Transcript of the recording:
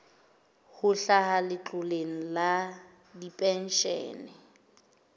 ho hlaha letloleng la dipenshene